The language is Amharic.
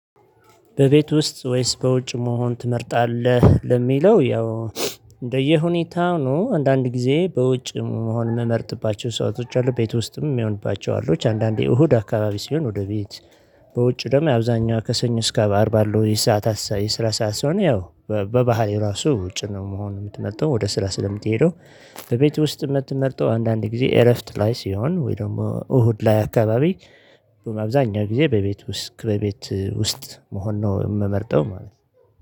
በቤት ውስጥ ወይስ በውጭ መሆን ትመርጣለህ? ለሚለው፣ ያው እንደየሁኔታው ነው አንዳንድ ጊዜ በውጭ መሆን የምመርጥባቸው ሰአቶች አሉ ቤት ውስጥም የምሆንባቸው አሉ። አንዳንዴ እሁድ አካባቢ ሲሆን ወደ ቤት በውጭ ደግሞ አብዛኛው ከሰኞ እስከ አርባ ባለው የሰዓት የስራ ሰዓት ስለሆነ ያው በባህሪይ ራሱ ውጭ ነው መሆን የምትመርጠው ወደ ስራ ስለምትሄደው። በቤት ውስጥ የምትመርጠው አንዳንድ ጊዜ እረፍት ላይ ሲሆን ወይ ደግሞ እሁድ ላይ አካባቢ። አብዛኛው ጊዜ በቤት ውስጥ ከቤት ውስጥ መሆን ነው የምመርጠው ማለት ነው